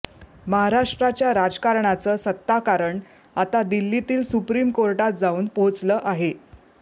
महाराष्ट्राच्या राजकारणाचं सत्ताकारण आता दिल्लीतील सुप्रीम कोर्टात जाऊन पोहचलं आहे